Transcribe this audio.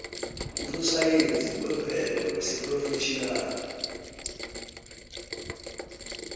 usosayensi wemvelo wesiphrofetjhinali